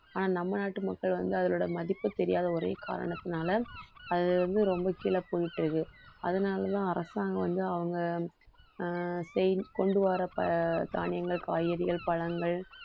ஆனா நம்ம நாட்டு மக்கள் வந்து அதோட மதிப்பு தெரியாத ஒரே காரணத்தினால அது வந்து ரொம்ப கீழே போயிட்டு இருக்கு. அதனாலதான் அரசாங்கம் வந்து அவங்க கொண்டு வர ப~ தானியங்கள் காய்கறிகள் பழங்கள்